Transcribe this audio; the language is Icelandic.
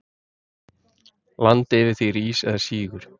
Land yfir því rís eða sígur.